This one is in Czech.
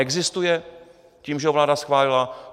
Existuje tím, že ho vláda schválila?